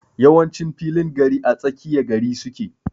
Yawancin filin gari ã tsakiya gari suke.